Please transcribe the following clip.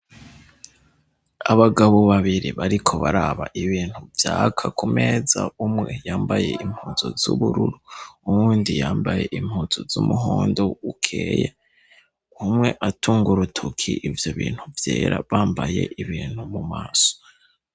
Abagabo babiri bariko baraba ibintu vyaka ku meza, umwe yambaye impuzu z' ubururu, uwundi yambaye impuzu z' umuhondo ukeye, umwe atunga urutoke ivyo bintu vyera, bambaye ibintu mu maso.